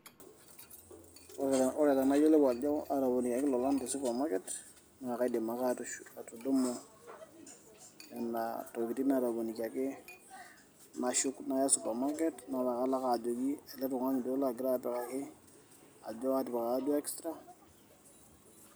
Ore enayiolou ajoo atoponikiaki lolan te supermarket naa kadim ake atudumu nena tokiting natoponikiaki, nashuuk naaya supermarket naalo ajoki ile latipikaka atjo atipikakaka duo extra